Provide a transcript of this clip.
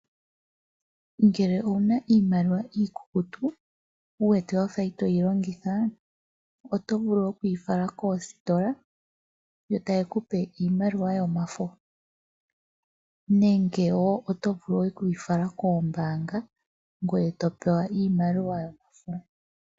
Ngele owuna iimaliwa ikukutu wuwete Wafa itoyi longitha oto vulu okuyi fala koositola yo tayekupe iimaliwa yomafo, nenge wo otovulu okuyi fala koombanga ngweye topewa iimaliwa yomafo.